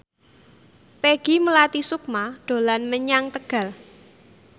Peggy Melati Sukma dolan menyang Tegal